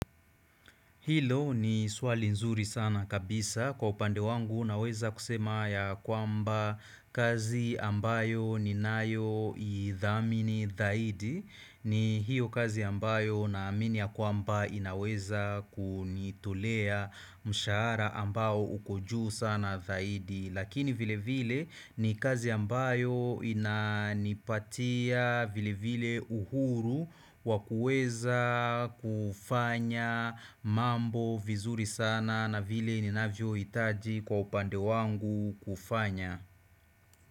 Hilo ni swali nzuri sana kabisa kwa upande wangu unaweza kusema ya kwamba kazi ambayo ni nayo idhamini dhaidi ni hiyo kazi ambayo na amini ya kwamba inaweza kunitulea mshara ambayo ukoju sana dhaidi Lakini vile vile ni kazi ambayo ina nipatia vile vile uhuru wakueza kufanya mambo vizuri sana na vile ninavyo itaji kwa upande wangu kufanya.